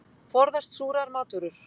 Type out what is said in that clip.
Forðast súrar matvörur.